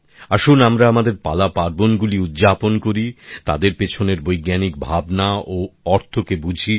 আসুন আমরা আমাদের পালাপার্বণ গুলি উদযাপন করি তাদের পেছনের বৈজ্ঞানিক ভাবনা ও অর্থকে বুঝি